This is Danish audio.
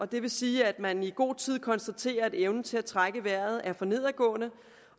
det vil sige at man i god tid konstaterer at evnen til at trække vejret er for nedadgående